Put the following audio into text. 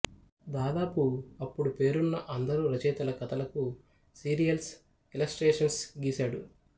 దాదాపు అప్పుడు పేరున్న అందరు రచయితల కథలకు సీరియల్స్ ఇలస్ట్రేషన్స్ గీశాడు